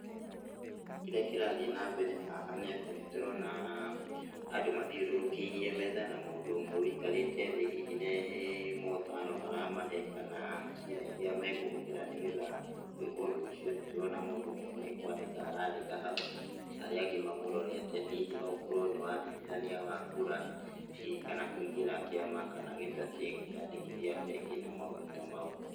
Kĩrĩa kĩrathiĩ na mbere haha nĩ atĩ nĩtũrona andũ mathiũrũrũkĩirie metha na mũndũ ũmwe wĩikarĩte thĩ hihi nĩ motaro aramahe, kana njĩra iria mekũhũthĩra nĩgetha gũĩka ũndũ ũcio, nĩtũrona mũndũ ũmwe nĩkwandĩka arandĩka hau, arĩa angĩ mamũrorete, hihi no gũkorwo nĩ wandĩkithania wa kura, hihi kana kũingĩra kĩama, kana gĩtatĩ, kwĩyandĩkithia bengi na maũndũ ta mau.